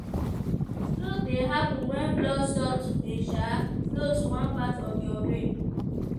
stroke dey happun wen blood stop to dey um flow to one part of your brain.